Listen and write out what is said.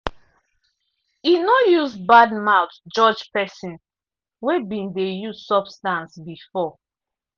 e no use bad mouth judge pesin wey been dey use substance before.